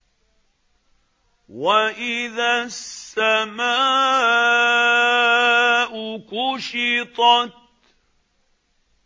وَإِذَا السَّمَاءُ كُشِطَتْ